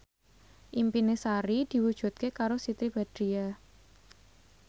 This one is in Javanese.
impine Sari diwujudke karo Siti Badriah